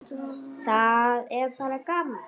Það er bara gaman.